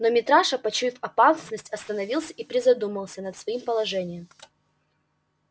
но митраша почуяв опасность остановился и призадумался над своим положением